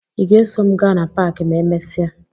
Ị ga-eso m gaa na paakị ma emesịa?